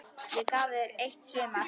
Ég gaf þér eitt sumar.